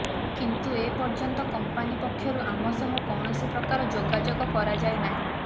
କିନ୍ତୁ ଏ ପର୍ଯ୍ୟନ୍ତ କମ୍ପାନି ପକ୍ଷରୁ ଆମ ସହ କୌଣସି ପ୍ରକାର ଯୋଗାଯୋଗ କରାଯାଇ ନାହିଁ